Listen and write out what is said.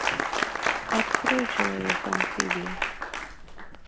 открой человек амфибия